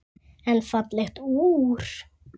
En fallegt úr.